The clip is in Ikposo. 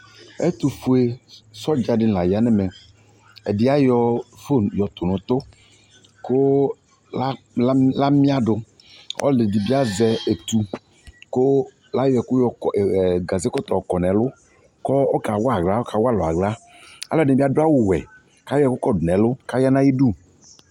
Ɛtpfue sɔdza de ne la ya nɛmɛƐde ayɔ fon tu no utu ko lam, la miadoƆlɛde be azɛ etu ko layɔ ɛku yɔ kɔ, ɛɛ gaze kɔtɔ ɔkɔ nɛlu ko ɔka wa ahla, aka wa alu ahla Ɛlɛde ne be ado awuwɛ kayɔ kɔdo nɛlu ka ya na ayidu